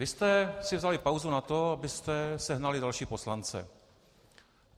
Vy jste si vzali pauzu na to, abyste sehnali další poslance.